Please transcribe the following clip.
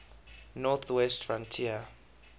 north west frontier